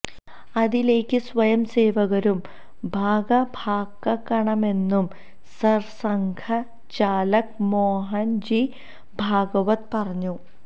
അതിലേക്ക് സ്വയംസേവകരും ഭാഗഭാക്കാകണമെന്നും സര് സംഘ ചാലക് മോഹന് ജി ഭാഗവത് പറഞ്ഞു